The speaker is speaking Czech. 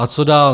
A co dál?